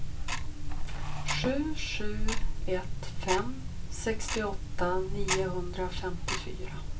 sju sju ett fem sextioåtta niohundrafemtiofyra